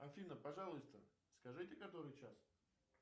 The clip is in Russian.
афина пожалуйста скажите который час